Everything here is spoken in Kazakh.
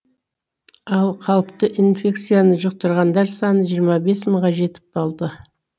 ал қауіпті инфекцияны жұқтырғандар саны жиырма бес мыңға жетіп қалды